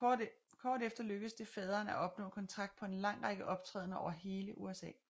Kort efter lykkedes det faderen at opnå kontrakt på en lang række optrædender over hele USA